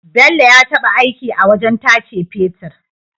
Bello ya taba aiki a wajan tace fetir